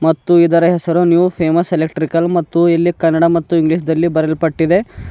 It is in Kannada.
ಮತ್ತು ಇದರ ಹೆಸರು ನ್ಯೂ ಫೇಮಸ್ ಎಲೆಕ್ಟ್ರಿಕಲ್ ಮತ್ತು ಇಲ್ಲಿ ಕನ್ನಡ ಮತ್ತು ಇಂಗ್ಲಿಷ್ ದಲ್ಲಿ ಬರೆಯಲ್ ಪಟ್ಟಿದೆ.